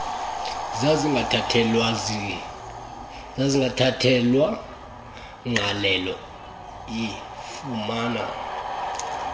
ezazingathathelwa ngqalelo ifumana